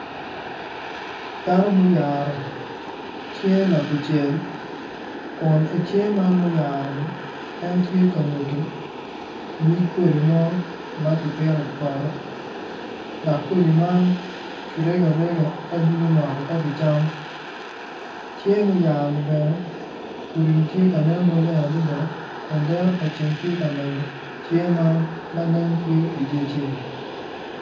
Dano ma oyaro cinge ka kucel kun i cinge man ma oyaro-ni en tye ka nyuto nyig koti mo ma kipito i poto dok kodi man kirego arega ka doko moko ka kicamo cinge muyaro ni bene kodi-ni bene tye ka nen maleng adada kun dero pa ceng tye ka menyo cinge man ma nen tye i dye ceng,